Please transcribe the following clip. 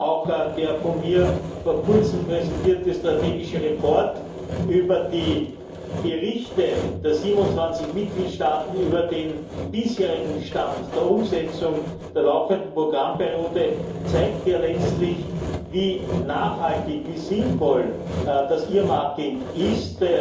Auch der von mir vor kurzem präsentierte strategische Bericht über die Berichte der 27 Mitgliedstaaten über den bisherigen Stand der Umsetzung der laufenden Programmperiode zeigt ja letztlich, wie nachhaltig und sinnvoll das Earmarking ist,